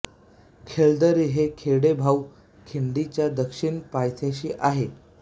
खेळदरी हे खेडे भाऊ खिंडीच्या दक्षिण पायथ्याशी आहे